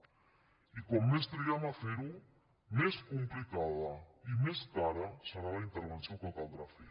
i com més triguem a fer ho més complicada i més cara serà la intervenció que caldrà fer